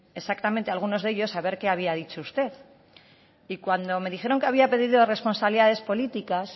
exactamente a algunos de ellos a ver qué había dicho usted y cuando me dijeron que había pedido responsabilidades políticas